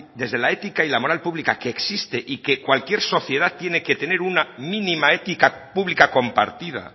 desde la ética y la moral pública que existe y que cualquier sociedad tiene que tener una mínima ética pública compartida